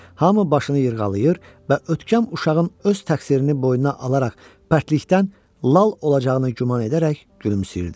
Hamı başını yırğalayır və ötkəm uşağın öz təqsirini boynuna alaraq bərklikdən lal olacağını güman edərək gülümsüyürdü.